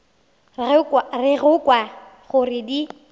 re go kwa gore di